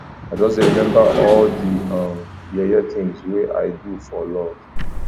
i just dey remember all di um yeye tins wey i don do for love